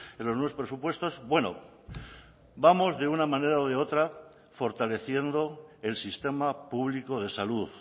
en los nuevos presupuestos bueno vamos de una manera o de otra fortaleciendo el sistema público de salud